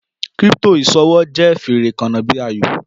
Crypto iṣowo jẹ fere kanna bi ayo